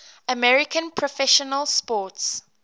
american professional sports